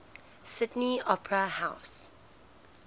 sydney opera house